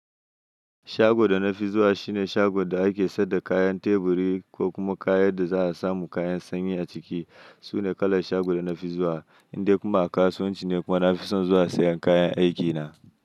Shago da na fi zuwa shine shago da ake sayar da kayan teburi ko kuma kayan da za a samu kayan sanyi a ciki. Sune kalar shago da na fi zuwa. Indai kuma a kasuwanci ne kuma nafi son zuwa sayan kayan aiki na.